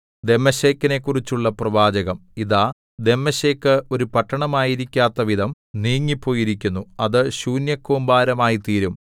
ദമ്മേശെക്കിനെക്കുറിച്ചുള്ള പ്രവാചകം ഇതാ ദമ്മേശെക്ക് ഒരു പട്ടണമായിരിക്കാത്തവിധം നീങ്ങിപ്പോയിരിക്കുന്നു അത് ശൂന്യകൂമ്പാരമായിത്തീരും